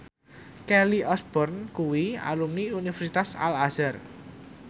Kelly Osbourne kuwi alumni Universitas Al Azhar